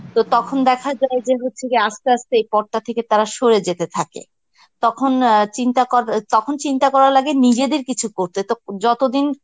তো তখন দেখা যায় যে হচ্ছে গিয়ে আস্তে আস্তে এই পদটা থেকে তারা সরে যেতে থাকে. তখন অ্যাঁ চিন্তা কর~ তখন চিন্তা করা লাগে নিজেদের কিছু করতে তো যতদিন